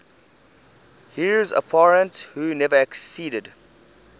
heirs apparent who never acceded